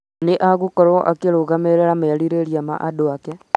Nĩ agaakorũo akĩrũgamĩrĩra merirĩria ma andũ ake.